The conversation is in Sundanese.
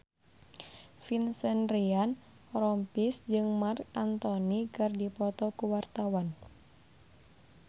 Vincent Ryan Rompies jeung Marc Anthony keur dipoto ku wartawan